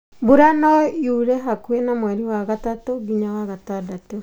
Mbura no ĩoire hakuhĩ na mweri wa gatatũ nginya wa gatandatũ.